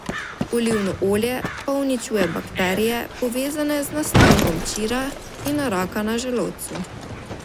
Olivno olje pa uničuje bakterije, povezane z nastankom čira in raka na želodcu.